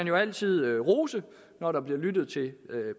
jo altid rose når der bliver lyttet til